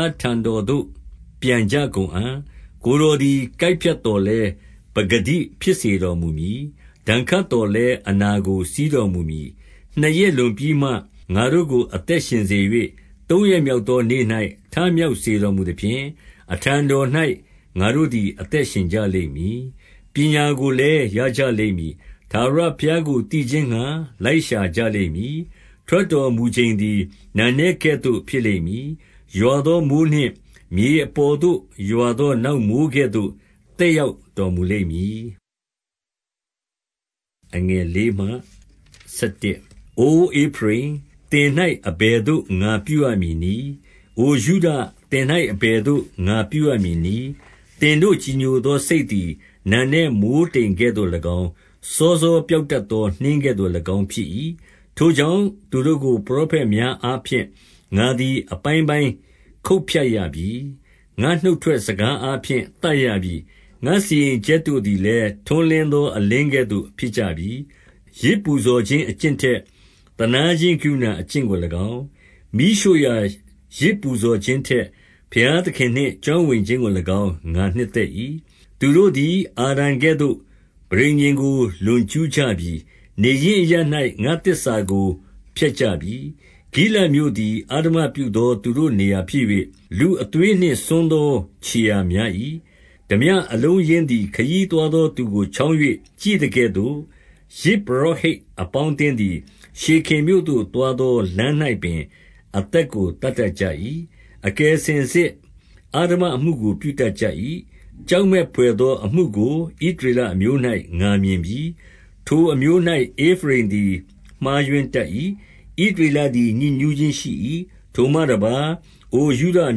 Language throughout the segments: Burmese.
ားထံတော်သို့ ပြန်ကြ ကုန်အံ့။ ကိုယ်တော်သည် ကိုက်ဖြတ်သော်လည်း ပကတိ ဖြစ်စေတော်မူမည်။ ဒဏ်ခတ်သော်လည်း အနာကို စည်းတော်မူမည်။ 2 နှစ်ရက်လွန်ပြီးမှ ငါတို့ကို အသက်ရှင်စေ၍၊ သုံးရက်မြောက်သောနေ့၌ ထမြောက်စေတော်မူသဖြင့်၊ အထံတော်၌ ငါတို့သည် အသက်ရှင်ကြလိမ့်မည်။ 3 ပညာကိုလည်း ရကြလိမ့်မည်။ ထာဝရဘုရားကို သိခြင်းငှါ လိုက်ရှာကြလိမ့်မည်။ ထာဝရဘုရားကို သိခြင်း ငှါ လိုက်ရှာကြလိမ့်မည်။ ထွက်တော်မူချိန်သည် နံနက် ကဲ့သို့ ဖြစ်လိမ့်မည်။ ရွာသောမိုဃ်းနှင့် မြေအပေါ်သို့ ရွာသော နောက်မိုဃ်းကဲ့သို့ သက်ရောက်တော်မူလိမ့်မည်။ 4 အိုဧဖရိမ်၊ သင်၌ အဘယ်သို့ ငါပြုရမည်နည်း။ အိုယုဒ၊ သင်၌ အဘယ်သို့ ငါပြုရမည်နည်း။ သင်တို့ ကြည်ညိုသော စိတ်သည် နံနက်မိုဃ်းတိမ်ကဲ့သို့၎င်း၊ စောစောပျောက်တတ်သော နှင်းကဲ့သို့၎င်းဖြစ်၏။ 5 ထိုကြောင့် သူတို့ကို ပရောဖက်များအားဖြင့် ငါသည် အပိုင်းပိုင်းခုတ်ဖြတ်ရပြီ။ ငါ့နှုတ်ထွက်စကား အားဖြင့် သတ်ရပြီ။ ငါ့စီရင်ချက်တို့သည်လည်း ထွန်းလင်း သော အလင်းကဲ့သို့ ဖြစ်ကြပြီ။ 6 ယဇ်ပူဇော်ခြင်း အကျင့်ထက် သနားခြင်း ကရုဏာအကျင့်ကို၎င်း၊ မီးရှို့ရာယဇ်ပူဇော်ခြင်းထက် ဘုရားသခင်နှင့် ကျွမ်းဝင်ခြင်းကို၎င်း ငါနှစ်သက်၏။ 7 သူတို့သည် အာဒံကဲ့သို့ ပဋိညာဉ်ကို လွန်ကျူး ကြပြီ။ နေရင်းအရပ်၌ ငါ့သစ္စာကို ဖျက်ကြပြီ။ 8 ဂိလဒ်မြို့သည် အဓမ္မပြုသော သူတို့နေရာ ဖြစ်၍၊ လူအသွေးနှင့် စွန်းသော ခြေရာများ၏။ 9 ထားပြအလုံးအရင်းသည် ခရီးသွားသော သူကို ချောင်း၍ ကြည့်သကဲ့သို့၊ ယဇ်ပုရောဟိတ် အပေါင်း အသင်းသည် ရှေခင်မြို့သို့သွားသော လမ်း၌ပင် အသက် ကို သတ်တတ်ကြ၏။ 10 အကယ်စင်စစ် အဓမ္မအမှုကို ပြုတတ်ကြ၏။ ကြောက်မက်ဘွယ်သောအမှုကို ဣသ ရေလအမျိုး၌ ငါမြင်ပြီ။ ထိုအမျိုး၌ ဧဖရိမ်သည် မှားယွင်း တတ်၏။ ဣသရေလသည် ညစ်ညူးခြင်းရှိ၏။ 11 ထိုမှ တပါး အိုယုဒအ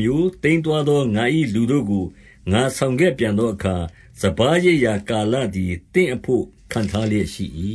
မျိုး၊ သိမ်းသွားသော ငါ၏လူတို့ကို ငါဆောင်ခဲ့ပြန်သောအခါ၊ စပါး ရိတ်ရာကာလသည် သင့်အဖို့ ခန့်ထားလျက်ရှိ၏